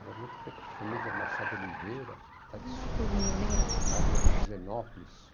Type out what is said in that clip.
Era muito da família Machado Oliveira, tradicional, morava na